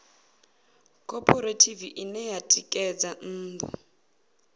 khophorethivi ine ya ṋekedza nnḓu